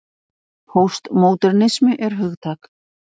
Póstmódernismi er hugtak.